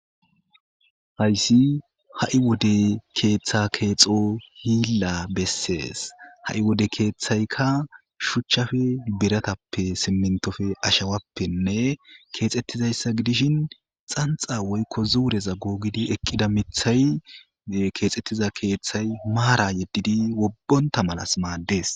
Hasyssi ha'i wode keeththeta keexo hilla besses. Ha'i wode keeththaykka shuchchappe, biratappe, simmintoppe ashawappenne keexettidayssa godishin xanxxa woykko zuureza googi eqqida miththay keexetida keeththa maara yedidi wobbonta mala maaddes.